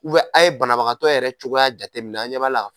a ye banabagatɔ yɛrɛ cogoya jateminɛ, a ɲɛ b'ala wa?